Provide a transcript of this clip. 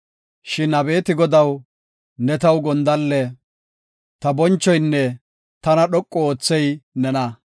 Shin abeeti Godaw, ne taw gondalle; ta bonchoynne tana dhoqu oothey nena.